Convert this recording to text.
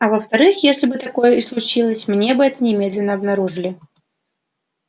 а во вторых если бы такое и случилось мы бы это немедленно обнаружили